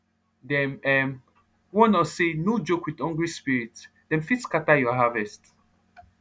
dem um warn us say no joke with hungry spiritsdem fit scatter your harvest